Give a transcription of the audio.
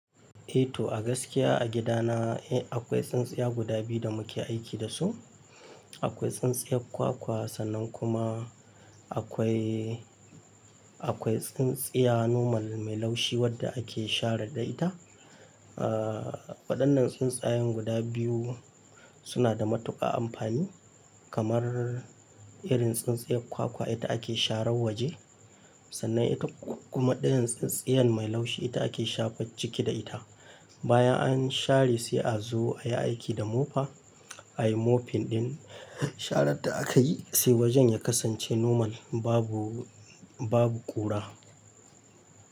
Eh to, a gaskiya a gidana eh akwai tsintsiya guda biyu da muke aiki da su. Akwai tsintsiyar kwa-kwa sannan kuma akwai, akwai tsintsiya normal mai laushi wadda ake shara da ita. Ah waɗannan tsintsayan guda biyu suna da matuƙa amfani kamar irin tsintsiyar kwa-kwa ita ake sharar waje. Sannan ita kuma ɗayan tsintsiyan mai laushi ita ake shafe ciki da ita. Bayan an share sai a zo ayi aiki da mofa. Ayi mofin ɗin sharan da aka yi sai wajen ya kasance normal babu, babu ƙura.